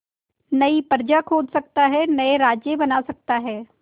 नई प्रजा खोज सकता है नए राज्य बना सकता है